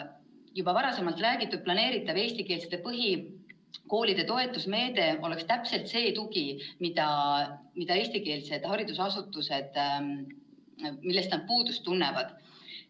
Juba varem räägitud planeeritav eestikeelsete põhikoolide toetusmeede oleks täpselt see tugi, millest eestikeelsed haridusasutused puudust tunnevad.